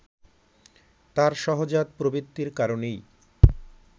তার সহজাত প্রবৃত্তির কারণেই